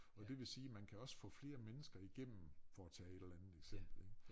Og det vil sige man kan også få flere mennesker igennem for at tage et eller andet eksempel ik